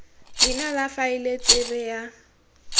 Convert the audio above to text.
leina la faele tsebe ya